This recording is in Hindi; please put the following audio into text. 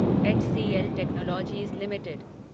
HCL Technologies limited